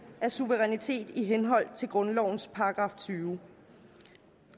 af suverænitet i henhold til grundlovens § tyvende